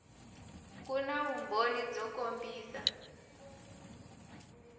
ku na vumbhoni byo kombisa